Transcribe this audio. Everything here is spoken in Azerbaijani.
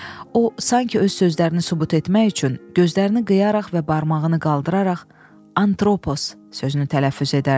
O, sanki öz sözlərini sübut etmək üçün gözlərini qıyaraq və barmağını qaldıraraq “antropos” sözünü tələffüz edərdi.